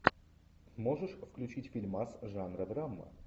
можешь включить фильмас жанра драма